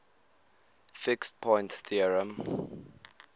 fixed point theorem